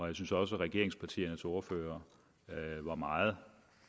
jeg synes også og regeringspartiernes ordførere var meget